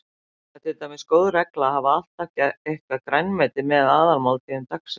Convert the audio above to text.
Það er til dæmis góð regla að hafa alltaf eitthvert grænmeti með í aðalmáltíðum dagsins.